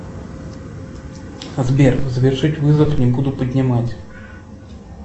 сбер завершить вызов не буду поднимать